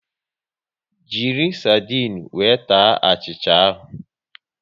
Jiri sardinu wee taa achịcha ahụ